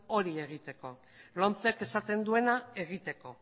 hori egiteko lomcek esaten duena egiteko